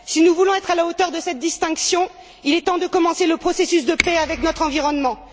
Si nous voulons être à la hauteur de cette distinction, il est temps de commencer le processus de paix avec notre environnement.